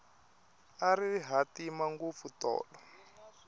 a ri hatima ngopfu tolo